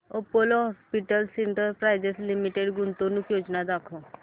Apollo hospitals enterprise limited गुंतवणूक योजना दाखव